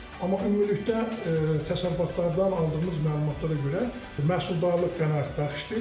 Amma ümumilikdə təsərrüfatlardan aldığımız məlumatlara görə məhsuldarlıq qənaətbəxşdir.